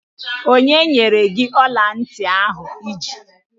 Onye nyere gị ọla ntị ahụ I ji?